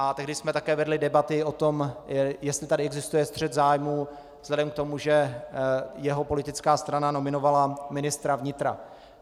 A tehdy jsme také vedli debaty o tom, jestli tady existuje střet zájmu vzhledem k tomu, že jeho politická strana nominovala ministra vnitra.